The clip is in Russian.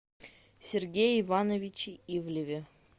сергее ивановиче ивлеве